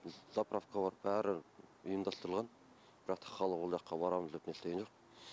заправка бар бәрі ұйымдастырылған бірақ та халық ол жаққа барамыз деп нестеген жоқ